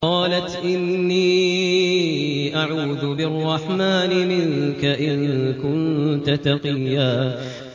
قَالَتْ إِنِّي أَعُوذُ بِالرَّحْمَٰنِ مِنكَ إِن كُنتَ تَقِيًّا